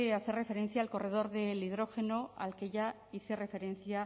hacer referencia al corredor de hidrógeno al que ya hice referencia